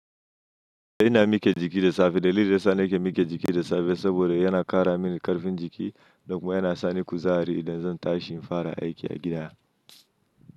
Ina mike jiki da safe. Dalilin da ya sa na ke mike jiki da safe, saboda yana kara min karfin jiki. Kuma yana sani kuzari idan zan tashi in fara aiki a gida.